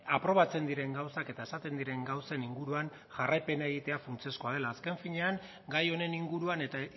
aprobatzen diren gauzak eta esaten diren gauzen inguruan jarraipena egitea funtsezkoa dela azken finean gai honen inguruan eta